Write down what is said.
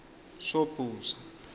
sobhuza